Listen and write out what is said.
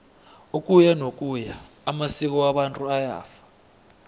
ukuyanokuya amasko wabantu ayafa